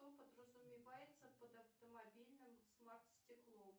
что подразумевается под автомобильным смарт стеклом